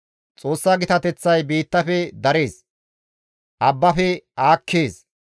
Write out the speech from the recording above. Xoossa gitateththay biittafe darees; abbafe aakkees.